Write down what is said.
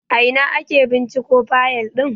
A ina ake binciko fayal din?